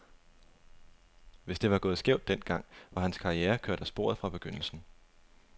Hvis det var gået skævt den gang, var hans karriere kørt af sporet fra begyndelsen.